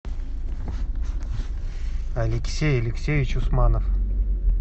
алексей алексеевич усманов